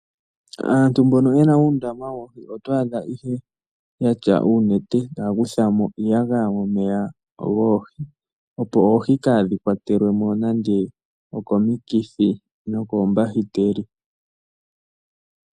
Aantu mbono yena uundama woohi oto adha ihe yatya uunete taya kuthamo iiyagaya momeya goohi opo oohi kadhi kwatwelwe mo okomikithi nokoombahiteli.